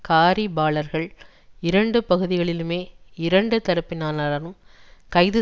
காரிபாளர்கள் இரண்டு பகுதிகளிலுமே இரண்டு தரப்பினராலும் கைது